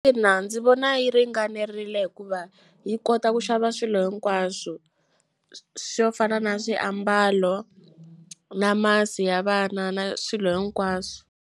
Ina, ndzi vona yi ringanerile hikuva yi kota ku xava swilo hinkwaswo swo fana na swiambalo na masi ya vana na swilo hinkwaswo.